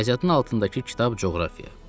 Riyaziyyatın altındakı kitab coğrafiya.